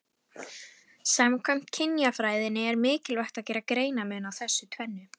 Samkvæmt kynjafræðinni er mikilvægt að gera greinarmun á þessu tvennu.